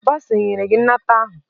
Bọsa enyere gị nnata ahụ?